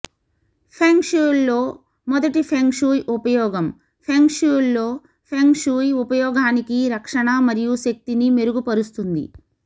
ఫెంగ్ షుయ్లో మొదటి feng shui ఉపయోగం ఫెంగ్ షుయ్లో ఫెంగ్ షుయ్ ఉపయోగానికి రక్షణ మరియు శక్తిని మెరుగుపరుస్తుంది